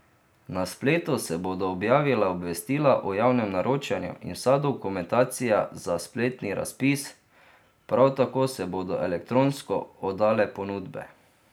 Na spletu se bodo objavila obvestila o javnem naročanju in vsa dokumentacija za spletni razpis, prav tako se bodo elektronsko oddale ponudbe.